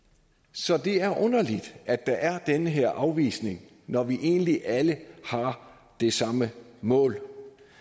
så det er underligt at der er den her afvisning når vi egentlig alle har det samme mål